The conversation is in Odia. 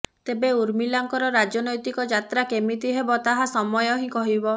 ତେବେ ଉର୍ମିଲାଙ୍କର ରାଜନୈତିକ ଯାତ୍ରା କେମିତି ହେବ ତାହା ସମୟ ହିଁ କହିବ